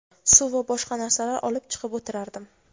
suv va boshqa narsalar olib chiqib o‘tirardim.